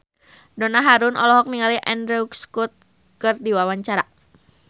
Donna Harun olohok ningali Andrew Scott keur diwawancara